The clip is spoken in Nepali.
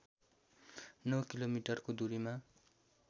नौ किलोमिटरको दूरीमा